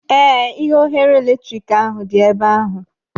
Ee, ihe oghere eletrik ahụ dị ebe ahụ.